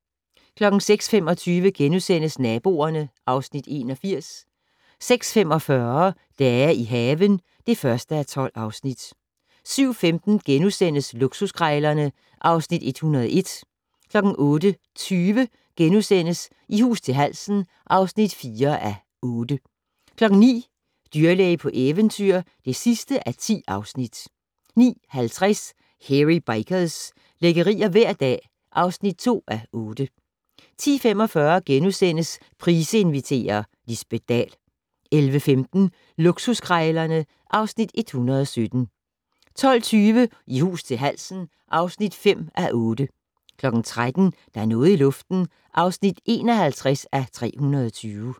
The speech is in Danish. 06:25: Naboerne (Afs. 81)* 06:45: Dage i haven (1:12) 07:15: Luksuskrejlerne (Afs. 101)* 08:20: I hus til halsen (4:8)* 09:00: Dyrlæge på eventyr (10:10) 09:50: Hairy Bikers - lækkerier hver dag (2:8) 10:45: Price inviterer - Lisbet Dahl * 11:15: Luksuskrejlerne (Afs. 117) 12:20: I hus til halsen (5:8) 13:00: Der er noget i luften (51:320)